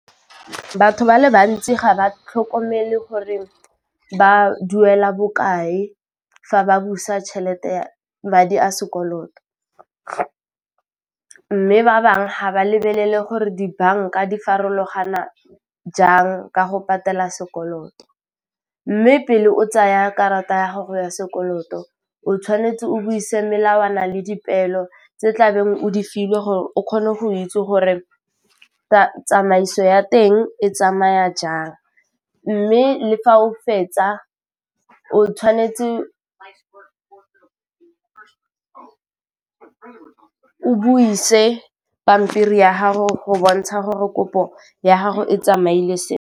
Batho ba le bantsi ga ba tlhokomele gore ba duela bokae fa ba busa tšhelete madi a sekoloto, mme ba bangwe ga ba lebelele gore dibanka di farologana jang ka go patela sekoloto, mme pele o tsaya karata ya gago ya sekoloto o tshwanetse o buise melawana le dipeelo tse tlabeng o di filwe gore o kgone go itse gore tsamaiso ya teng e tsamaya jang, mme le fa o fetsa o tshwanetse o buise pampiri ya gago go bontsha gore kopo ya gago e tsamaile .